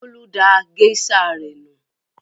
Bólú da géíṣà rẹ̀ nù.